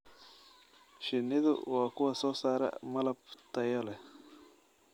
Shinnidu waa kuwa soo saara malab tayo leh.